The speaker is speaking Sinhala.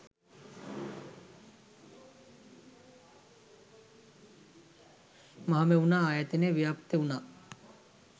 මහමෙවුනා ආයතනය ව්‍යාප්ත වුණා.